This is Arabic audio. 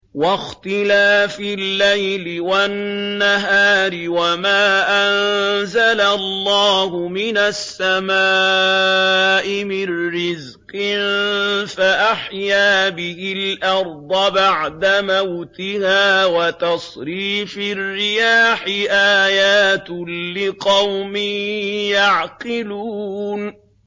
وَاخْتِلَافِ اللَّيْلِ وَالنَّهَارِ وَمَا أَنزَلَ اللَّهُ مِنَ السَّمَاءِ مِن رِّزْقٍ فَأَحْيَا بِهِ الْأَرْضَ بَعْدَ مَوْتِهَا وَتَصْرِيفِ الرِّيَاحِ آيَاتٌ لِّقَوْمٍ يَعْقِلُونَ